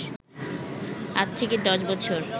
৮-১০ বছর